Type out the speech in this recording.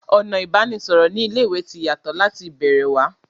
Ọ̀nà ìbánisọ̀rọ̀ ní ilé ìwé ti yàtọ̀ láti ìbẹ̀rẹ̀ wá